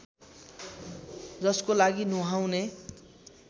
जसको लागि नुहाउने